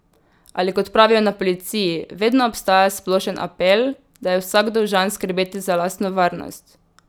Ali kot pravijo na policiji: "Vedno obstaja splošen apel, da je vsak dolžan skrbeti za lastno varnost.